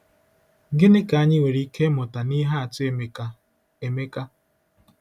Gịnị ka anyị nwere ike ịmụta n’ihe atụ Emeka? Emeka?